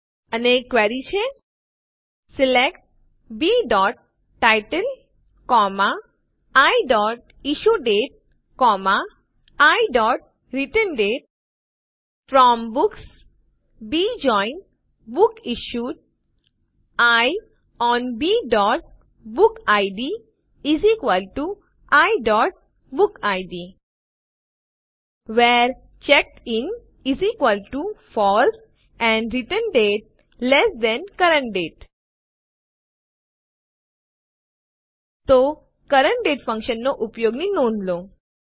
અને ક્વેરી છે select b title i issue date i returned date from books b join books issued i on b book id i book id where checked in false and returned date lt CURRENT DATE તો CURRENT DATE ફંક્શનનાં ઉપયોગની નોંધ લો